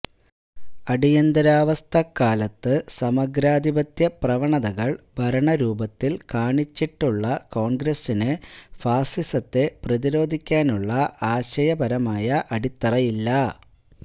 അടിയന്തരാവസ്ഥക്കാലത്ത് സമഗ്രാധിപത്യ പ്രവണതകള് ഭരണരൂപത്തില് കാണിച്ചിട്ടുള്ള കോണ്ഗ്രസിന് ഫാസിസത്തെ പ്രതിരോധിക്കാനുള്ള ആശയപരമായ അടിത്തറയില്ല